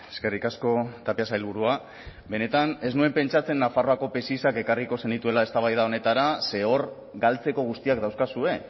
eskerrik asko tapia sailburua benetan ez nuen pentsatzen nafarroako psis ekarriko zenituela eztabaida honetara ze hor galtzeko guztiak dauzkazue